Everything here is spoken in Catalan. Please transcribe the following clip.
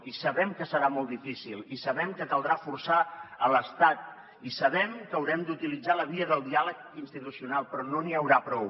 i sabem que serà molt difícil i sabem que caldrà forçar l’estat i sabem que haurem d’utilitzar la via del diàleg institucional però no n’hi haurà prou